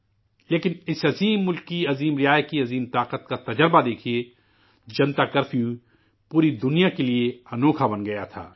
لیکن اس عظیم ملک کے عظیم باشندوں کی عظیم قوت تجربہ دیکھیے، جنتا کرفیو پوری دنیا کے لیے حیران کن بن گیا تھا